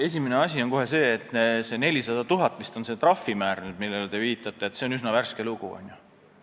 Esimene asi on kohe see, et see trahvimäär, millele te viitasite, on nüüd vist 400 000.